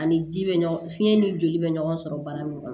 Ani ji bɛ ɲɔgɔn fiɲɛ ni joli bɛ ɲɔgɔn sɔrɔ baara min kɔnɔ